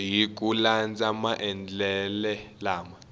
hi ku landza maendlele lama